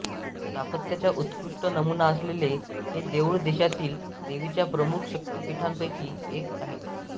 स्थापत्याचा उत्कृष्ट नमुना असलेले हे देऊळ देशातील देवीच्या प्रमुख शक्तिपीठांपैकी एक आहे